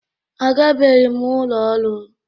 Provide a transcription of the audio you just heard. Agabeghị m ụlọ ọrụ